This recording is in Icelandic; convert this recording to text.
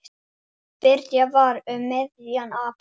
Byrjað var um miðjan apríl.